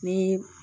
Ni